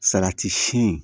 Salati si